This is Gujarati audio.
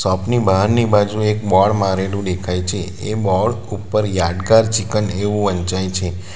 શોપ ની બહારની બાજુ એક બોર્ડ મારેલુ દેખાઈ છે એ બોર્ડ ઉપર યાદગાર ચિકન એવુ વંચાય છે.